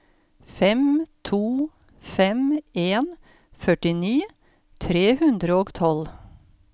fem to fem en førtini tre hundre og tolv